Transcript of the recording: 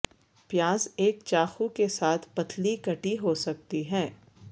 پیاز ایک چاقو کے ساتھ پتلی کٹی ہو سکتی ہے